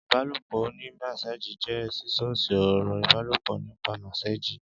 ìbálòpọ̀ oní mẹ́sééjì jẹ́ sísọ ọ̀rọ̀ ìbálòpọ̀ nípa mẹ́sééjì